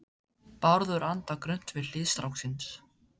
Bárður andar grunnt við hlið stráksins.